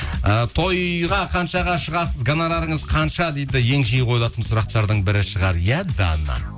і тойға қаншаға шығасыз гонорарыңыз қанша дейді ең жиі қойылатын сұрақтардың бірі шығар иә дана